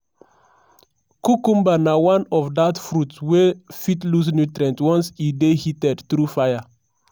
cucumber na one of dat fruits wey fit lose nutrient once e dey heated through fire.